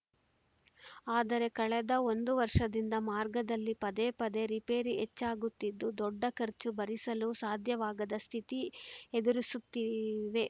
ಆದರೆ ಕಳೆದ ಒಂದು ವರ್ಷದಿಂದ ಮಾರ್ಗದಲ್ಲಿ ಪದೇ ಪದೇ ರಿಪೇರಿ ಹೆಚ್ಚಾಗುತ್ತಿದ್ದು ದೊಡ್ಡ ಖರ್ಚು ಭರಿಸಲು ಸಾಧ್ಯವಾಗದ ಸ್ಥಿತಿ ಎದುರಿಸುತ್ತಿವೆ